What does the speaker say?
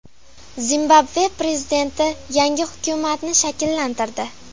Zimbabve prezidenti yangi hukumatni shakllantirdi.